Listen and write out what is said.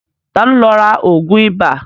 Ta ló lọ ra ògùn ibà?